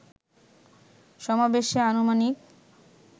সমাবেশে আনুমানিক